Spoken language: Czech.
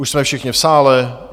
Už jsme všichni v sále.